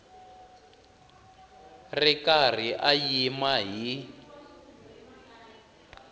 ri karhi a yima hi